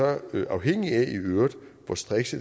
øvrigt afhænge af hvor striks